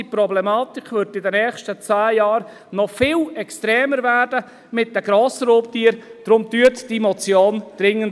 Diese Problematik mit den Grossraubtieren wird in den nächsten zehn Jahren noch viel extremer werden, unterstützen Sie deshalb diese Motion dringend.